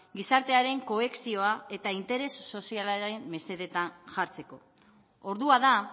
gizartearen kohesioa eta interes sozialaren mesedetan jartzeko ordua da